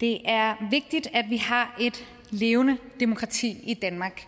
det er vigtigt at vi har et levende demokrati i danmark